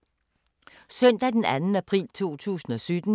Søndag d. 2. april 2017